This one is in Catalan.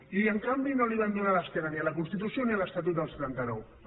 i en canvi no van donar l’esquena ni a la constitució ni a l’estatut del setenta nueve